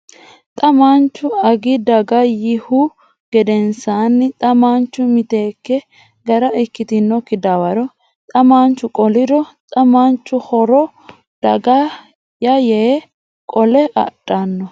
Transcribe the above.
Xa mamaanchu Agi daga yiihu gedensaanni xa maanchu miteekke gara ikkitinokki dawaro xa maanchu qoliro xa mamaanchu Horro daga ya yee qole adhanno !